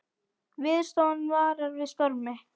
Veðurstofan varar við stormi